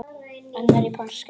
annar í páskum